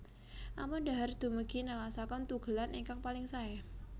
Ampun dhahar dumugi nelasaken tugelan ingkang paling saé